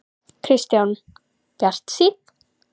Kristján: Bjartsýnn?